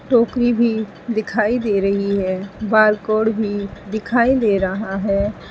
टोकरी भी दिखाई दे रही है बारकोड भी दिखाई दे रहा है।